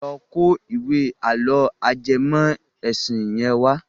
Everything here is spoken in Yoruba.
Lọ kó ìwé àlọ́ ajẹmọ́ ẹ̀sìn yẹn wá.